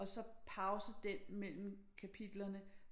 Og så pause den mellem kapitlerne